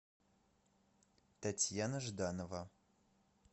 татьяна жданова